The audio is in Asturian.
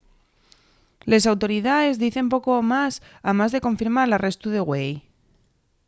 les autoridaes dicen poco más amás de confirmar l’arrestu de güei